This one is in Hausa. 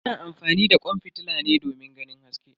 Ana amfani da kwan fitila ne domin ganin haske.